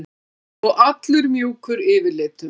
Og allur mjúkur yfirlitum.